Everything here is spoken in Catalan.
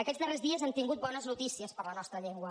aquests darrers dies hem tingut bones notícies per a la nostra llengua